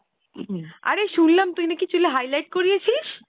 অরে শুনলাম তুই নাকি চুলে highlight করিয়েছিস?